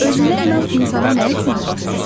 Özünə inam insana nə üçün lazımdır?